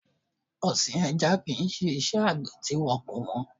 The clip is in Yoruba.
Ọ̀sìn ẹja kìí Ṣé iṣẹ́ Àgbẹ̀ tí kò wọ́n.